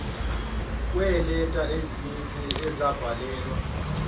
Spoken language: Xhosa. kweeleta ezininzi ezabhalelwa